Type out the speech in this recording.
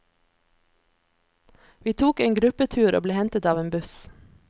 Vi tok en gruppetur og ble hentet av en buss.